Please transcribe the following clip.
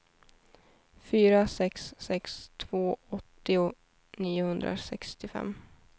fyra sex sex två åttio niohundrasextiofem